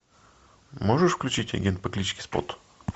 можешь включить агент по кличке спот